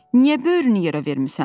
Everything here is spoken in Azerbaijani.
Niyə böyrünü yerə vermisən?